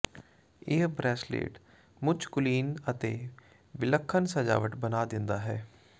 ਇਹ ਬਰੈਸਲੇਟ ਮੁੱਚ ਕੁਲੀਨ ਅਤੇ ਵਿਲੱਖਣ ਸਜਾਵਟ ਬਣਾ ਦਿੰਦਾ ਹੈ